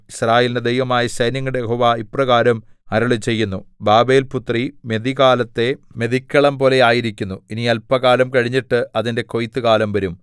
യിസ്രായേലിന്റെ ദൈവമായ സൈന്യങ്ങളുടെ യഹോവ ഇപ്രകാരം അരുളിച്ചെയ്യുന്നു ബാബേൽപുത്രി മെതികാലത്തെ മെതിക്കളംപോലെയായിരിക്കുന്നു ഇനി അല്പകാലം കഴിഞ്ഞിട്ട് അതിന്റെ കൊയ്ത്തുകാലം വരും